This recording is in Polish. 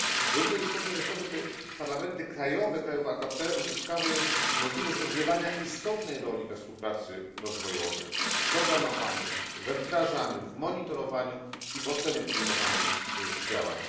Równie istotne jest to, żeby parlamenty krajowe krajów AKP uzyskały możliwość odgrywania istotnej roli we współpracy rozwojowej, w programowaniu, we wdrażaniu, w monitorowaniu i w ocenie podejmowanych działań.